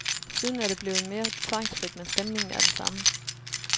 Siden er det blevet mere tvangfrit, men stemningen er den samme.